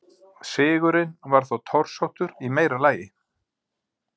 Sigurinn var þó torsóttur í meira lagi.